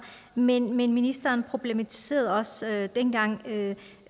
men ministeren problematiserede også dengang at